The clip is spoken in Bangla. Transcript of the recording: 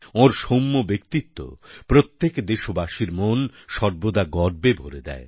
ওর সৌম্য ব্যক্তিত্ব প্রত্যেক দেশবাসীর মন সর্বদা গর্বে ভরে দেয়